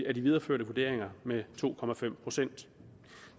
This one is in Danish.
af de videreførte vurderinger med to procent